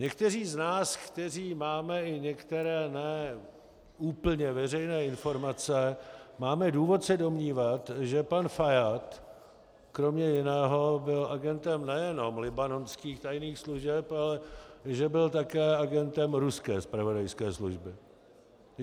Někteří z nás, kteří máme i některé ne úplně veřejné informace, máme důvod se domnívat, že pan Fajád kromě jiného byl agentem nejenom libanonských tajných služeb, ale že byl také agentem ruské zpravodajské služby.